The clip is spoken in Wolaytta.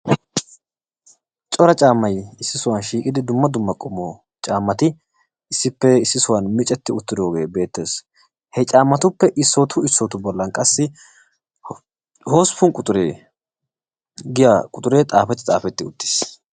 Cora caammay issi sohuwa shiiqidi dumma dumma qommo caammati issippe issi sohuwan micetti uttidooge beettes. He caammatuppe issootu issootu bollan qassi hosppun quxure giya quxure xaafetti xaafetti uttiis.